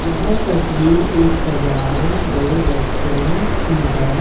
यह तस्वीर एक सजाए गए रेस्टोरेंट की है।